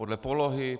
Podle polohy?